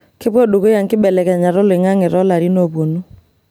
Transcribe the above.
Kepuo dukuya nkibelekenyat oloing'ang'e toolarin oopuonu.